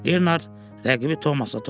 Leonard rəqibi Tomasa toxuşdu.